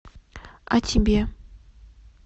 а тебе